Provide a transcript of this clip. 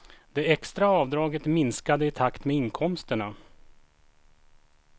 Det extra avdraget minskade i takt med inkomsterna.